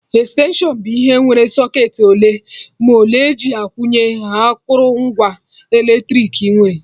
Extension bụ ihe nwere socketị ole ma ole eji akwụnye akụrụngwa eletrik nwere